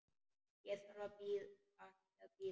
Ég þarf ekki að bíða.